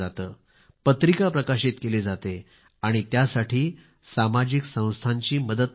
पत्रिका प्रकाशित केली जाते आहे आणि यासाठी सामाजिक संस्थांची मदत पण मिळते आहे